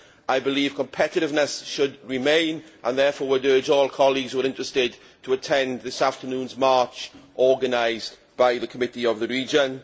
I believe competitiveness should be maintained, and would therefore urge all colleagues who are interested to attend this afternoon's march, organised by the Committee of the Regions.